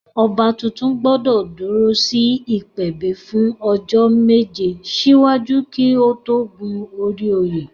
Ọba tuntun gbọ́dọ̀ dúró sí ìpèbí fún ọjọ́ méje síwájú kí ó tó gun orí oyè